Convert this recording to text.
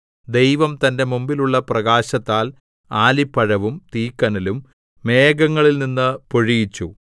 ദൈവം തന്റെ മുമ്പിലുള്ള പ്രകാശത്താൽ ആലിപ്പഴവും തീക്കനലും മേഘങ്ങളിൽനിന്ന് പൊഴിയിച്ചു